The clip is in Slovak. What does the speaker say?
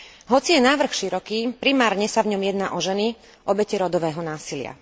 Hoci je návrh široký, primárne sa v ňom jedná o ženy, obete rodového násilia.